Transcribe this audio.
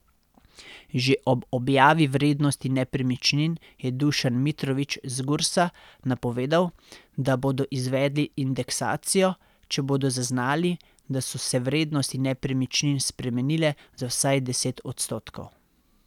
Že ob objavi vrednosti nepremičnin je Dušan Mitrović z Gursa napovedal, da bodo izvedli indeksacijo, če bodo zaznali, da so se vrednosti nepremičnin spremenile za vsaj deset odstotkov.